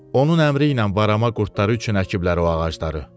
Onun əmri ilə varama qurdları üçün əkiblər o ağacları.